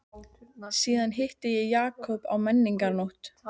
Síðast hitti ég Jakob á menningarnótt.